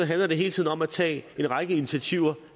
handler det hele tiden om at tage en række initiativer